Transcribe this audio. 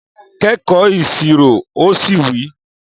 Kẹ́kọ̀ọ́ Ìṣirò! o si wi